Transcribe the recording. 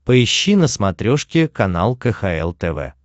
поищи на смотрешке канал кхл тв